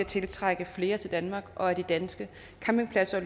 til at trække flere turister til danmark og at de danske campingpladser